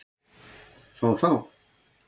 Fá þá?